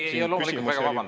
Tahtsin veel.